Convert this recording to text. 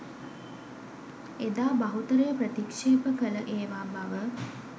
එදා බහුතරය ප්‍රතික්ෂේප කල ඒවා බව